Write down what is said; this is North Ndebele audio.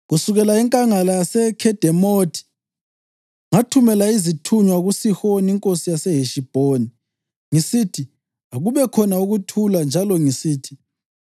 Kusukela enkangala yaseKhedemothi ngathumela izithunywa kuSihoni inkosi yaseHeshibhoni ngisithi akubekhona ukuthula njalo ngisithi,